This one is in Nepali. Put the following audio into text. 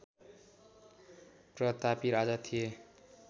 प्रतापी राजा थिए